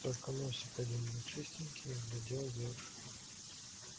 только носик один был чистенький и глядел вверх